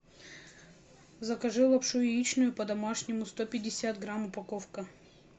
закажи лапшу яичную по домашнему сто пятьдесят грамм упаковка